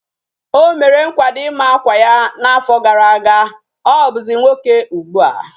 O mere nkwado ima akwa ya na afo gara aga. Obuzi nwoke ugbua